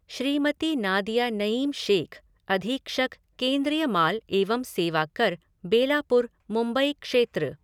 श्रीमती नादिया नईम शेख़, अधीक्षक, केंद्रीय माल एवं सेवा कर, बेलापुर, मुंबई क्षेत्र